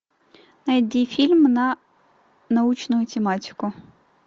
найди фильм на научную тематику